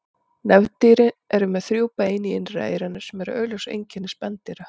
Nefdýr eru með þrjú bein í innra eyranu sem eru augljós einkenni spendýra.